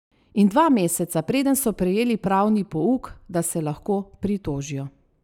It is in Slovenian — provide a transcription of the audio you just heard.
In dva meseca, preden so prejeli pravni pouk, da se lahko pritožijo.